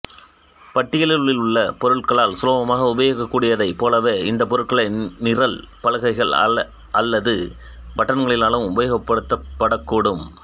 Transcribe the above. பட்டியில் உள்ள பொருட்களால் சுலபமாக உபயோகிக்கக் கூடியதைப் போலவே இந்த பொருட்களை நிரல் பலகைகள் அல்லது பட்டன்களினாலும் உபயோகிக்கப்படக்கூடும்